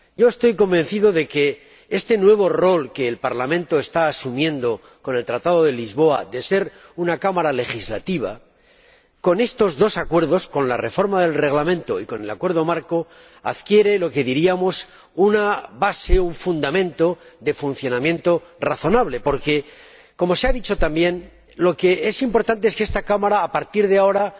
Estoy convencido de que este nuevo rol que el Parlamento está asumiendo tras el Tratado de Lisboa de ser una Cámara legislativa, con la reforma del Reglamento y con el Acuerdo marco adquiere una base, un fundamento de funcionamiento razonable porque como se ha dicho también lo que es importante es que esta Cámara, a partir de ahora,